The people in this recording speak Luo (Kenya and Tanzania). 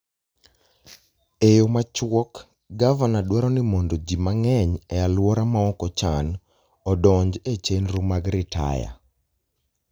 E yo machuok, Gavana dwaro ni mondo ji mang'eny e alwora maok ochan, odonj e chenro mag ritaya.